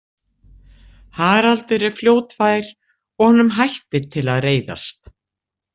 Haraldur er fljótfær og honum hættir til að reiðast.